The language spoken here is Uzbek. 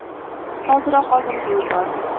Hoziroq oldimga yubor!